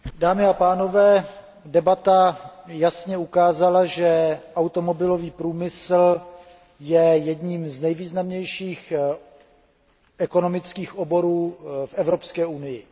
Dámy a pánové, debata jasně ukázala, že automobilový průmysl je jedním z nejvýznamnějších ekonomických oborů v Evropské unii.